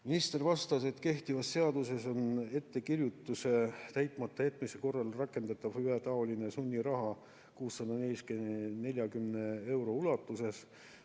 Minister vastas, et kehtivas seaduses on ettekirjutuse täitmata jätmise korral rakendatav ühetaoline sunniraha 640 euro ulatuses.